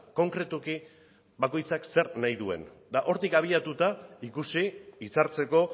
konkretuki bakoitzak zer nahi duen eta hortik abiatuta ikusi hitzartzeko